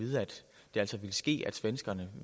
der altså ville ske det at svenskerne